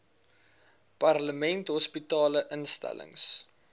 parlement hospitale instellings